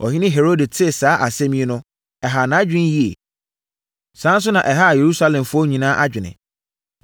Ɔhene Herode tee saa asɛm yi no, ɛhaa nʼadwene yie. Saa ara nso na ɛhaa Yerusalemfoɔ nyinaa adwene.